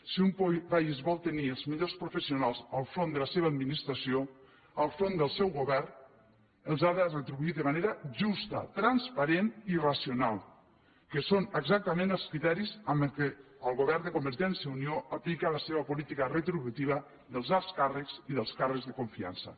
si un país vol tenir els millors professionals al capdavant de la seva administració al capdavant del seu govern els ha de retribuir de manera justa transparent i racional que són exactament els criteris amb què el govern de convergència i unió aplica la seva política retributiva dels alts càrrecs i dels càrrecs de confiança